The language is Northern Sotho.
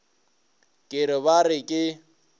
ke re ba re ke